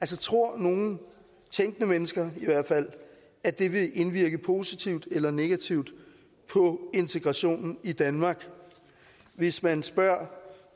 det tror nogen tænkende mennesker at det vil indvirke positivt eller negativt på integrationen i danmark hvis man spørger